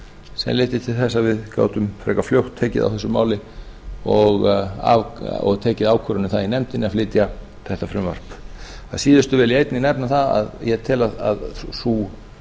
sem leiddi til þess að við gátum frekar fljótt tekið á þessu máli og tekið ákvörðun um það í nefndinni að flytja þetta frumvarp að síðustu vil ég einnig nefna það að ég tel að sú